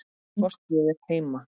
Hvort ég er heima?